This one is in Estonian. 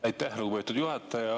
Aitäh, lugupeetud juhataja!